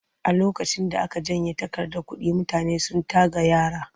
A lokacin da aka janye takardar kuɗi mutane sun tagayyara.